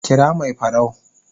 kira Mai farau